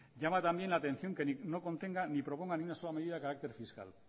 llama también la atención que no contenga ni proponga ni una sola medida de carácter fiscal